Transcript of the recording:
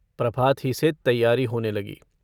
प्रभात ही से तैयारी होने लगी।